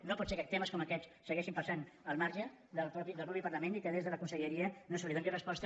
no pot ser que temes com aquest segueixin passant al marge del mateix parlament i que des de la conselleria no s’hi doni resposta